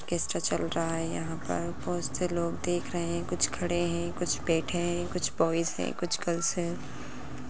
Orchestra चल रहा है यहाँ पर बहोत से लोग देख रहे है| कुछ खड़े हैं कुछ बैठे हैं कुछ बॉयज हैं कुछ गर्ल्स हैं।